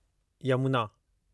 Yamuna